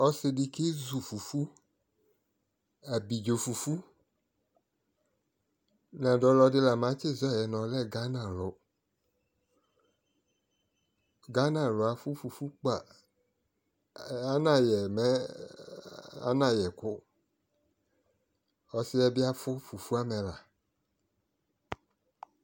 Ɔsɩdɩ kezu abɩdzo fufu nadu ɔlodɩ la matdi zɔyɛ nʊ ɔlɛ gana alʊ dʊ ganalʊ afʊ fufu kpaa anayɛ mɛ anayɛkʊ ɔsɩ yɛbɩ afʊ fufu amɛla